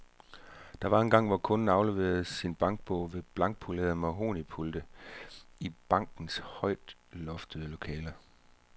Der var engang, hvor kunden afleverede sin bankbog ved blankpolerede mahognipulte i bankernes højloftede lokaler.